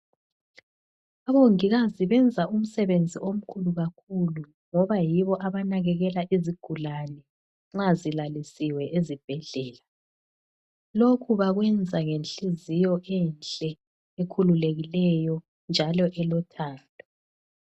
Omongikazi benza umsebenzi omkhulu kakhulu ngoba yibo abanakekela izigulane nxa zilalisiwe ezibhedlela. Lokhu bakwenza ngenhliziyo enhle ekhululekileyo njalo elothando.